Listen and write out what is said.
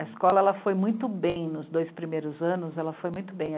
A escola, ela foi muito bem nos dois primeiros anos, ela foi muito bem.